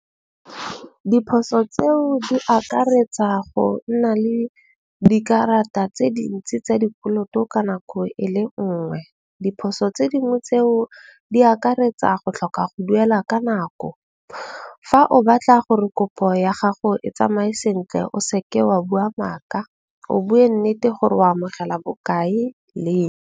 Diphoso tseo di akaretsa go nna le dikarata tse dintsi tsa dikoloto ka nako ele nngwe. Diphoso tse dingwe tseo di akaretsa go tlhoka go duela ka nako. Fa o batla gore kopo ya gago e tsamaye sentle, o seke wa bua maaka o bue nnete gore o amogela bokae leng.